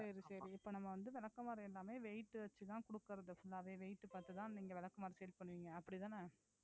சரி சரி இப்ப நம்ம வந்து விளக்குமாறு எல்லாமே weight வச்சுதான் கொடுக்கிறது full ஆவே weight பார்த்துதான் நீங்க விளக்குமாறு sale பண்ணுவீங்க அப்படித்தானே